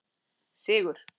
Sigur